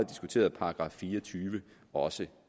diskuterede § fire og tyve også